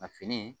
A fini